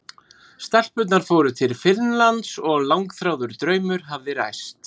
Stelpurnar fóru til Finnlands og langþráður draumur hafði ræst.